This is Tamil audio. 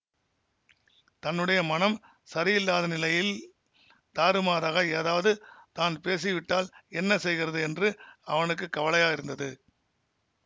தன்னுடைய மனம் சரியில்லாத நிலையில் தாறுமாறாக ஏதாவது தான் பேசிவிட்டால் என்ன செய்கிறது என்று அவனுக்கு கவலையாயிருந்தது